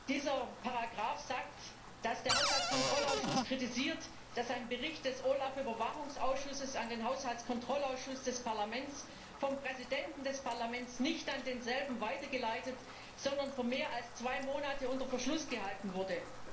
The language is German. Diese Ziffer sagt, dass der Haushaltskontrollausschuss kritisiert, dass ein Bericht des OLAF Überwachungsausschusses an den Haushaltskontrollausschuss des Parlaments vom Präsidenten des Parlaments nicht an denselben weitergeleitet, sondern mehr als zwei Monate unter Verschluss gehalten wurde.